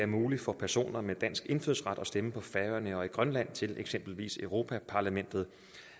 muligt for personer med dansk indfødsret at stemme på færøerne og i grønland til eksempelvis europa parlamentet